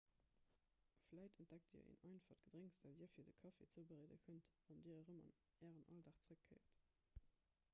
vläicht entdeckt dir en einfacht gedrénks dat dir fir de kaffi zoubereede kënnt wann dir erëm an ären alldag zeréckkéiert